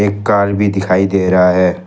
एक कार भी दिखाई दे रहा है।